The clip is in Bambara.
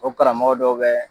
O karamɔgɔ dɔw bɛ